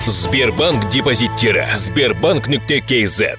сбербанк депозиттері сбербанк нүкте кз